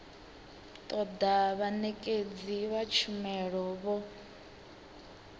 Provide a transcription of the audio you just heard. toda vhanekedzi vha tshumelo vho